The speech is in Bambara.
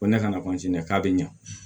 Ko ne kana k'a bɛ ɲa